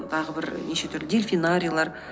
тағы бір неше түрлі дельфинарийлар